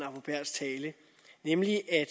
arbo bæhrs tale nemlig at